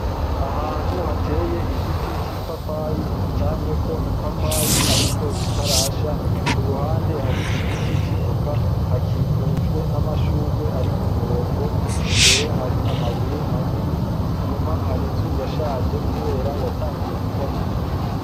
Ahantu hateye igiti c'ipapayi camyeko ipapayi ariko zitarasha ku ruhande hari igiti c'ivoka hakikujwe n'amashurwe ari ku murongo imbere hari amabuye manini imyuma hari inzu yashaje kubera yatanguye kubomoka.